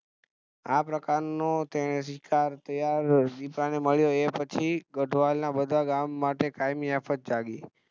આ પ્રકાર નો તેને શિકાર ત્યાં દીપડાને મળ્યો એ પછી ગઢવાલ ના લોકો માટે કાયમી આફત જાગી